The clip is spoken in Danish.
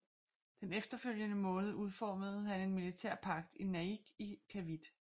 Den efterfølgende måned udformede han en militær pagt i Naic i Cavite